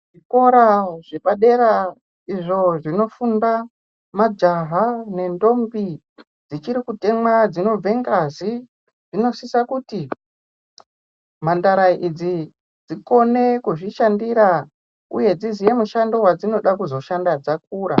Kuzvikora zvepadera izvo zvinofunda majaha ne ntombi dzichiri kutemwa dzinobve ngazi dzinosisa kuti mhandara idzi dzikone kuzvishandira uye dziziye mushando wadzinoda kuzoshanda dzakura